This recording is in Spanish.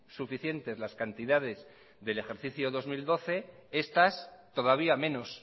suficientes las cantidades del ejercicio dos mil doce estas todavía menos